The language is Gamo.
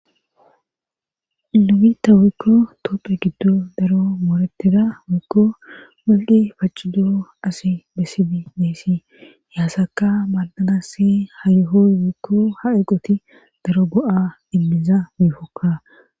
nu bita woiouiuikko topphe giddo daro mooreteda wiikko walgi pacu doo asi bessidi deesi yaassaka maandanassi hayuhoy wiikko ha eqoti daro go7a immiza miifokka